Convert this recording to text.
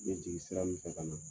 N b jigi sira min fɛ ka na.